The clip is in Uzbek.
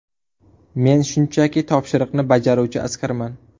Men shunchaki topshiriqni bajaruvchi askarman.